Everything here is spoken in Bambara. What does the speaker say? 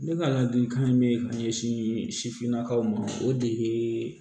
Ne ka ladilikan ye min ye ka ɲɛsin sifinnakaw ma o de ye